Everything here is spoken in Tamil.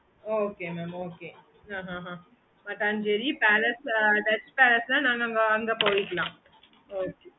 okay mam